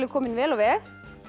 komin vel á veg